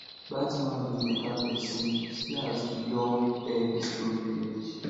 dat man be beta person see as he don air the story finish